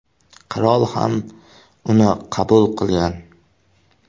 Qirol ham uni qabul qilgan.